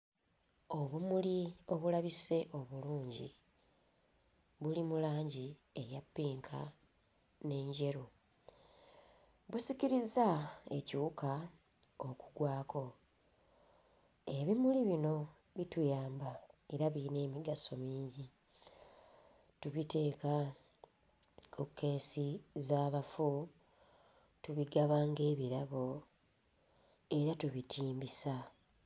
Obumuli obulabise obulungi buli mu langi eya ppinka n'enjeru. Busikirizza ekiwuka okugwako. Ebimuli bino bituyamba era biyina emigaso mingi, tubiteeka ku kkeesi z'abafu tubigaba nga ebirabo era tubitimbisa.